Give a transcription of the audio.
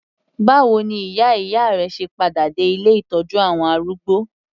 Báwo ni ìyá ìyá rẹ se padà dé ilé ìtọ́jú àwọn arúgbó?